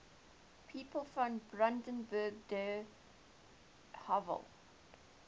people from brandenburg an der havel